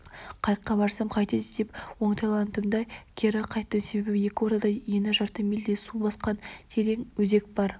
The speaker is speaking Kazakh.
қайыққа барсам қайтеді деп оңтайландым да кері қайттым себебі екі ортада ені жарты мильдей су басқан терең өзек бар